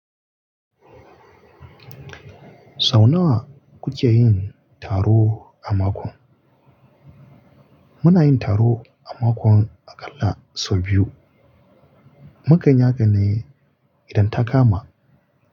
Sau nawa kuke yin taro a mako? Muna yin taro a makon akalla sau biyu. Mukanyi haƙan ne idan ta kama.